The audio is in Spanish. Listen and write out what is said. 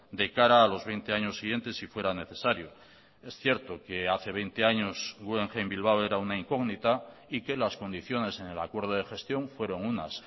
de cara a los veinte años siguientes si fuera necesario es cierto que hace veinte años guggenheim bilbao era una incógnita y que las condiciones en el acuerdo de gestión fueron unas